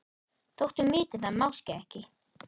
Þótt hún viti það máske ekki.